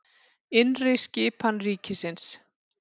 Innri skipan ríkisins